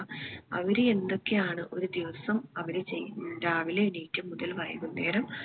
അവര് എന്തൊക്കെ ആണ് ഒരു ദിവസം അവിടെ ചെയ്യുന്നത് ഏർ രാവിലെ എണീറ്റ മുതൽ വൈകുന്നേരം